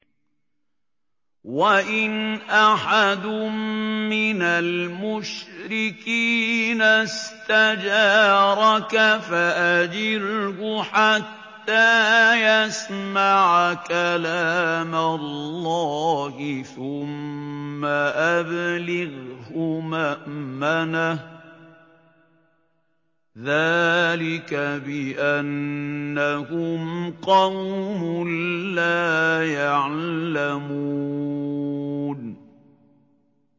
وَإِنْ أَحَدٌ مِّنَ الْمُشْرِكِينَ اسْتَجَارَكَ فَأَجِرْهُ حَتَّىٰ يَسْمَعَ كَلَامَ اللَّهِ ثُمَّ أَبْلِغْهُ مَأْمَنَهُ ۚ ذَٰلِكَ بِأَنَّهُمْ قَوْمٌ لَّا يَعْلَمُونَ